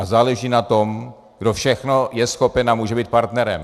A záleží na tom, kdo všechno je schopen a může být partnerem.